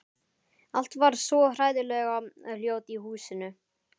Allt varð svo hræðilega hljótt í húsinu.